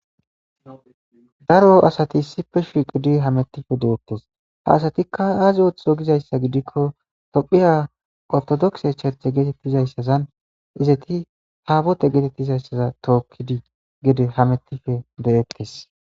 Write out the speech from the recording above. Daro asati issife shiqudi hamettife de'ettes ha asatikka aazi ootho gizayssa gidikko tophiya ortodokse charche geetettizayssazan izati haabote geetettizayssaza tookkidi gede hamettife de'ettes